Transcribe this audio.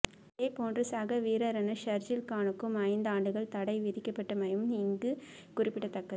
இதே போன்று சக வீரரான ஷர்ஜீல் கானுக்கும் ஐந்து ஆண்டுகள் தடை விதிக்கப்பட்டமையும் இங்கு குறிப்பிடத்தக்கது